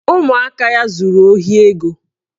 Ụmụaka ya zuru ohi ego